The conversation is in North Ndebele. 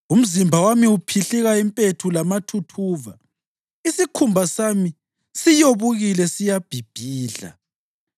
Umzimba wami uphihlika impethu lamathuthuva, isikhumba sami siyobukile siyabhibhidla.